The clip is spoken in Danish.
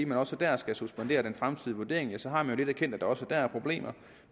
man også der skal suspendere den fremtidige vurdering ja så har man jo lidt erkendt at der også der er problemer